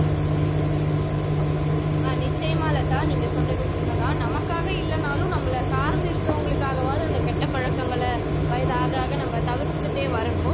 ஆஹ் நிச்சயமா லதா நீங்க சொன்னது உண்மைதான் நமக்காக இல்லைனாலும் நம்மளை சார்ந்து இருக்கிறவங்களுக்காகவாவது அந்த கெட்ட பழக்கங்களை வயது ஆக ஆக நம்ம தவிர்த்திட்டே வரணும்